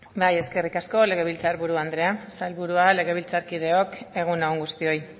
bai eskerrik asko legebiltzar buru andrea sailburua legebiltzarkideok egun on guztioi